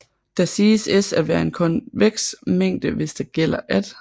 Da siges S at være en konveks mængde hvis der gælder at